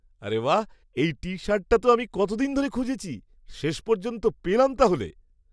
আরে বাঃ! এই টি শার্টটা তো আমি কতদিন ধরে খুঁজেছি! শেষ পর্যন্ত পেলাম তাহলে!